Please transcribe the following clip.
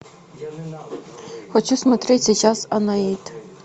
хочу смотреть сейчас анаит